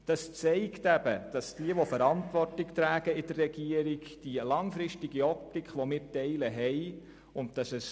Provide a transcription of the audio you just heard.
Das zeigt, dass diejenigen, die in der Regierung die Verantwortung tragen, über eine langfristige Optik verfügen, die wir ebenfalls teilen.